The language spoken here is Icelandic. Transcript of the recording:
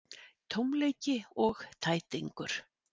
Tómleiki og tætingur.